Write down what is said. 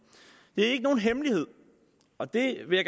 det er ikke nogen hemmelighed og det vil